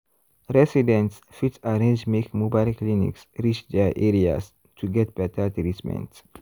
residents fit arrange make mobile clinics reach their areas to get better treatment.